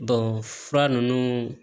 fura ninnu